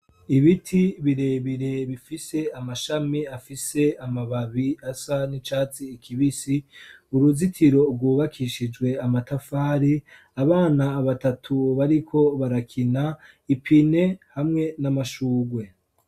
Ibiti birebire bifise amashami afise amababi asa n'icatsi kibisi, uruzitiro rwubakishijwe amatafari, abana batatu bariko barakina, ipine hamwe n'amashurwe.